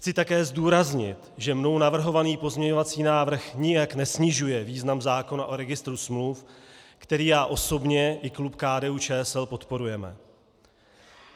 Chci také zdůraznit, že mnou navrhovaný pozměňovací návrh nijak nesnižuje význam zákona o registru smluv, který já osobně i klub KDU-ČSL podporujeme.